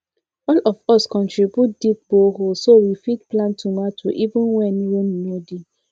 all of us contribute dig borehole so we fit plant tomato even when rain no dey